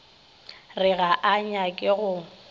re ga a nyake go